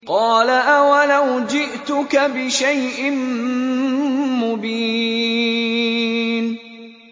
قَالَ أَوَلَوْ جِئْتُكَ بِشَيْءٍ مُّبِينٍ